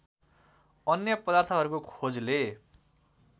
अन्य पदार्थहरूको खोजले